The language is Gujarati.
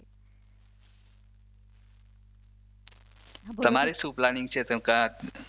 તમારે શું પ્લાનિંગ છે